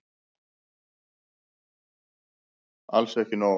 Alls ekki nóg.